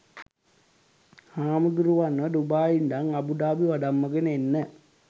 හාමුදුරුවන්ව Dubai ඉඳන් Abu Dhabi වඩම්මගෙන එන්න